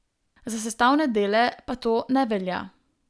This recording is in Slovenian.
Za sestavne dele pa to ne velja.